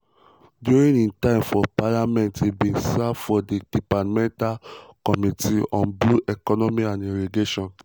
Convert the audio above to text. during im time for parliament e bin serve for di departmental committee on blue economy and irrigation.